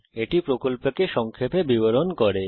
এটি প্রকল্পকে সংক্ষেপে বিবরণ করে